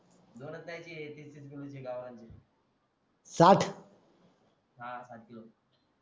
दोनच नाही ते तीस तीस किलो चे गावरांचे हां साठ किलो